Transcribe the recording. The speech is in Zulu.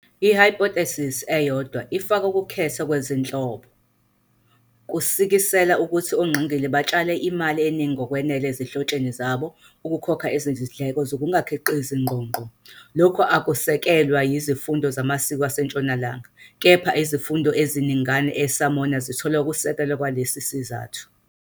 I-hypothesis eyodwa ifaka ukukhethwa kwezihlobo, kusikisela ukuthi ongqingili batshale imali eningi ngokwanele ezihlotsheni zabo ukukhokha izindleko zokungakhiqizi ngqo ngqo. Lokhu akusekelwa yizifundo zamasiko aseNtshonalanga, kepha izifundo eziningana eSamoa zithole ukusekelwa kwalesi sizathu.